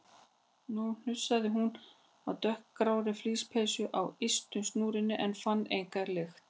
Nú hnusaði hún af dökkgrárri flíspeysu á ystu snúrunni en fann enga lykt.